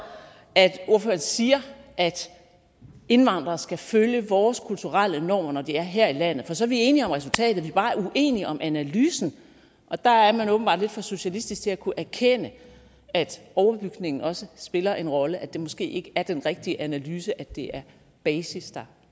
at ordføreren siger at indvandrere skal følge vores kulturelle normer når de er her i landet for så er vi enige om resultatet vi er bare uenige om analysen og der er man åbenbart lidt for socialistisk til at kunne erkende at overbygningen også spiller en rolle at det måske ikke er den rigtige analyse at det er basis der